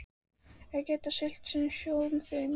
Þeir geta siglt sinn sjó fyrir mér.